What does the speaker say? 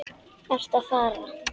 Ertu að fara?